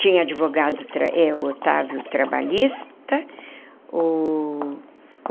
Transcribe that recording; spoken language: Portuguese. Tinha advogado, o Otávio, trabalhista o.